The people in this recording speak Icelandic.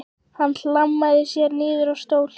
Hann hlammaði sér niður í stól.